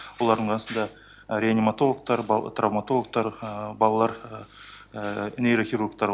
олардың арасында реаниматологтар травматологтар балалар нейрохирургтары